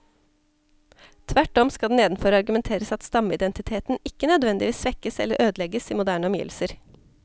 Tvert om skal det nedenfor argumenteres at stammeidentiteten ikke nødvendigvis svekkes eller ødelegges i moderne omgivelser.